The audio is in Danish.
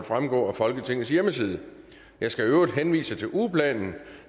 fremgå af folketingets hjemmeside jeg skal i øvrigt henvise til ugeplanen